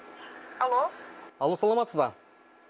алло алло саламатсыз ба